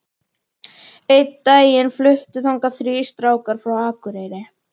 Einn daginn fluttu þangað þrír strákar frá Akureyri.